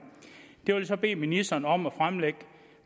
jeg vil så bede ministeren om at fremlægge